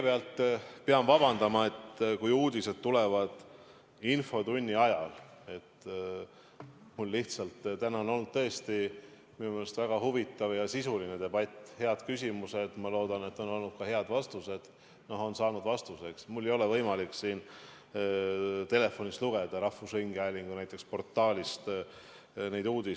Ma pean vabandama: kui uudised tulevad infotunni ajal – täna on tõesti olnud minu meelest väga huvitav ja sisuline debatt, on olnud head küsimused, ma loodan, et on olnud ka head vastused või et küsimused on saanud vastused –, siis mul ei ole võimalik siin telefonis näiteks rahvusringhäälingu portaalist neid uudiseid lugeda.